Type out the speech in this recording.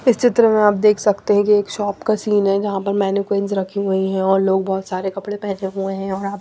इस चित्र में आप देख सकते हैं कि एक शॉप का सीन है जहां पर मैनेक्विंस रखी हुई है और लोग बहोत सारे कपड़े पहने हुए हैं।